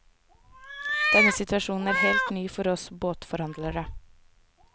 Denne situasjonen er helt ny for oss båtforhandlere.